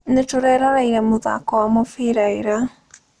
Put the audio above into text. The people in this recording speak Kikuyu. Nĩtũreroreire mũthako wa mũbira ira